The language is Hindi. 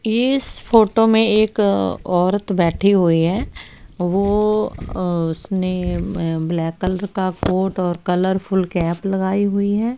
इस फोटो में एक औरत बैठी हुई है। वो अ उसने उम्म ब्लैक कलर का कोट और कलरफुल कैप लगाई हुई है।